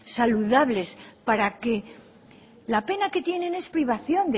saludables para que la pena que tienen es privación